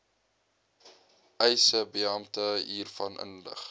eisebeampte hiervan inlig